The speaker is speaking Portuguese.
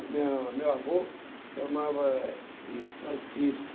minha meu avô chamava de Francisco.